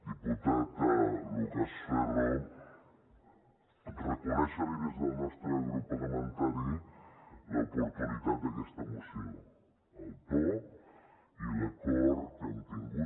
diputat lucas ferro reconèixer li des del nostre grup parlamentari l’oportunitat d’aquesta moció el to i l’acord que hem tingut